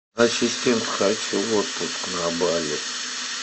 ассистент хочу в отпуск на бали